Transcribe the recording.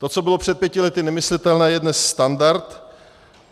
To, co bylo před pěti lety nemyslitelné, je dnes standard.